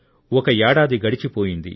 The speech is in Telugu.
ఒక ఏడాది గడిచిపోయింది